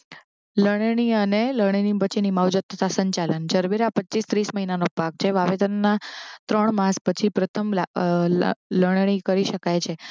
લણણીયા ને લણણી પછીની માવજત તથા સંચાલન. જરબેરા પચ્ચીસ ત્રીસ મહિનાનો પાક છે વાવેતરના ત્રણ માસ પછી પ્રથમ લા અ લા લણણી કરી શકાય છે